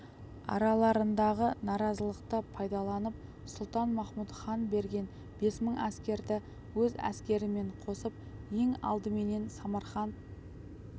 араларындағы наразылықты пайдаланып сұлтан-махмұт хан берген бес мың әскерді өз әскерімен қосып ең алдыменен самарқант